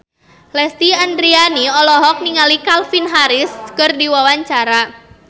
Lesti Andryani olohok ningali Calvin Harris keur diwawancara